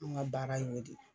Anw ŋa baara y'o de